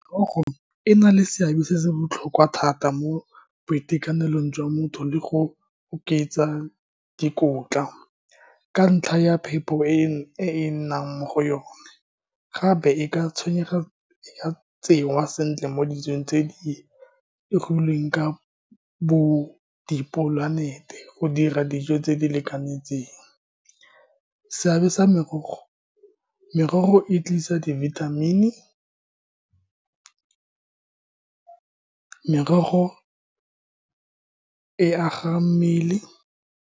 Merogo e na le seabe se se botlhokwa thata mo boitekanelong jwa motho le go oketsa dikotla ka ntlha ya phepho e nnang mo go yone, gape e ka tshwenyega, e ka tsengwa sentle mo dijong tse di dipolanete go dira dijo tse di lekanetseng. Seabe sa merogo, merogo e tlisa dibithamini, merogo e aga mmele.